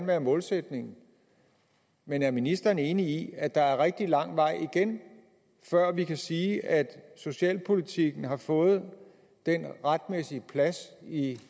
være målsætningen men er ministeren enig i at der er rigtig lang vej igen før vi kan sige at socialpolitikken har fået den retmæssige plads i